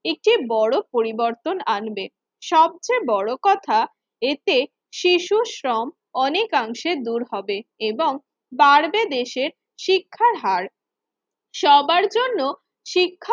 একটি বড় পরিবর্তন আনবে। সবচেয়ে বড় কথা, এতে শিশুশ্রম অনেকাংশে দূর হবে এবং বাড়বে দেশের শিক্ষার হার। সবার জন্য শিক্ষা